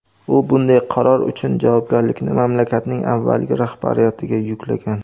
U bunday qaror uchun javobgarlikni mamlakatning avvalgi rahbariyatiga yuklagan.